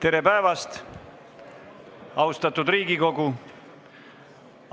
Tere päevast, austatud Riigikogu!